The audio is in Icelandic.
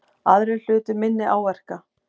Aðrir hlutu minni áverka